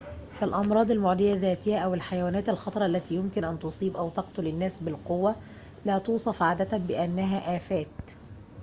فالأمراض المعدية ذاتها أو الحيوانات الخطرة التي يمكن أن تصيب أو تقتل الناس بالقوة لا توصف عادة بأنها آفات